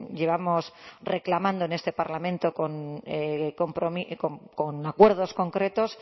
llevamos reclamando en este parlamento con acuerdos concretos